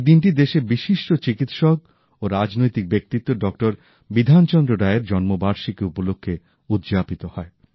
এই দিনটি দেশের বিশিষ্ট চিকিৎসক ও রাজনৈতিক ব্যক্তিত্ব ডক্টর বিধানচন্দ্র রায়ের জন্ম বার্ষিকী উপলক্ষে উদযাপিত হয়